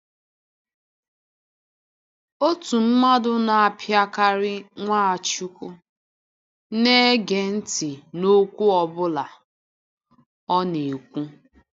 Òtù mmadụ na-apịakarị Nwachukwu, na-ege ntị n’okwu ọ bụla ọ na-ekwu.